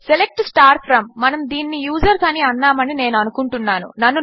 select from మనము దీనిని users అని అన్నామని నేను అనుకుంటున్నాను